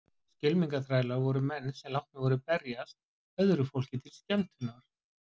Skylmingaþrælar voru menn sem látnir voru berjast öðru fólki til skemmtunar.